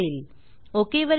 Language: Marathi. ओक ओके वर क्लिक करा